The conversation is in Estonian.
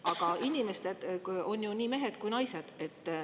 Aga inimesed on ju nii mehed kui ka naised.